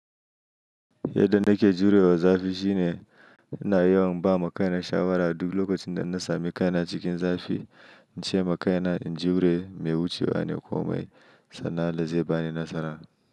Yadda nake jurewa zafi shine ina yawan ba makaina shawara duk lokacin da na sami kaina cikin zafi. In ce makaina in jure, mai wucewa ne komai, sannan allah zai bani nasara.